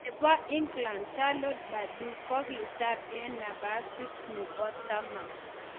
Nebo England Charlotte Purdue kogitar en nabasit nebo taman.